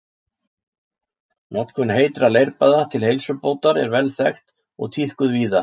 Notkun heitra leirbaða til heilsubótar er vel þekkt og tíðkuð víða.